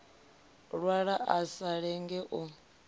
lwala a sa lenge u